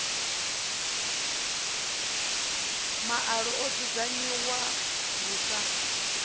maalo o dzudzunganyiwa lu sa